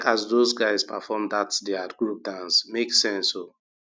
those guys perform dat their group dance make sense oh.